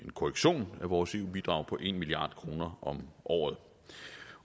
korrektion af vores eu bidrag på en milliard kroner om året